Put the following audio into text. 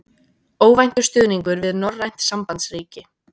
Óvæntur stuðningur við norrænt sambandsríki